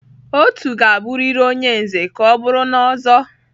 Otu ga-abụrịrị onye Nze ka ọ bụrụ na Ozo.